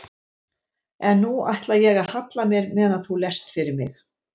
En nú ætla ég að halla mér meðan þú lest fyrir mig.